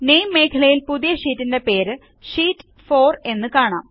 നാമെ മേഖലയിൽ പുതിയ ഷീറ്റിൻറെ പേര് ഷീറ്റ് 4 എന്ന് കാണാം